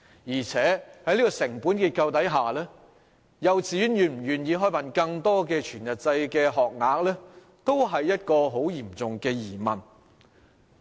而且，在成本結構下，幼稚園是否願意提供更多全日制學額也令人質疑。